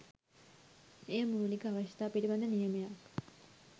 එය මූලික අවශ්‍යතා පිළිබඳ නියමයක්